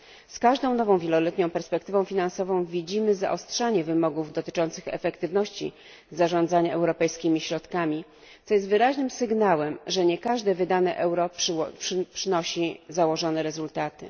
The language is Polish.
Z każdą nową wieloletnią perspektywą finansową widzimy zaostrzanie wymogów dotyczących efektywności zarządzania europejskimi środkami, co jest wyraźnym sygnałem, że nie każde wydane euro przynosi założone rezultaty.